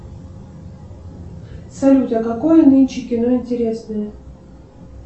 салют а какое нынче кино интересное